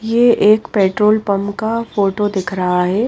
ये एक petrol pump का फोटो दिख रहा है।